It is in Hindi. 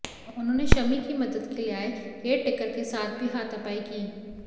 उन्होंने शमी की मदद के लिए आए केयरटेकर के साथ भी हाथापाई की